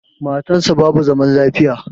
Matan sa basu zaman lafiya